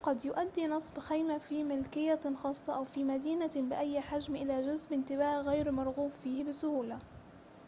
قد يؤدي نصب خيمة في ملكية خاصة أو في مدينة بأي حجم إلى جذب انتباه غير مرغوب فيه بسهولة